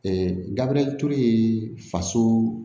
Ee gabriel ture faso